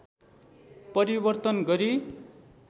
परिवर्तन गरी